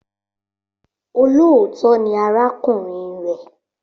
Olóòótọ́ .ni arákùnrin rẹ̀.